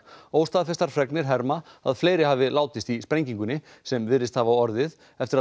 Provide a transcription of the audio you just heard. óstaðfestar fregnir herma að fleiri hafi látist í sprengingunni sem virðist hafa orðið eftir að